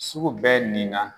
Sugu bɛ nin na